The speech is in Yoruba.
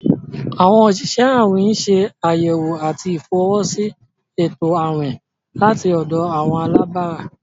Awọn osìsẹ̀ àwìn n ṣẹ̀ ayẹwò àti ifọwọsi ètò àwìn lati ọ̀dọ̀ àwọn alàbárà.